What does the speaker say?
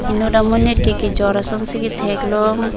inut amonit ke kejor ason si kathek long.